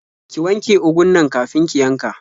Ki wanje ugun nan kafin ki yanka.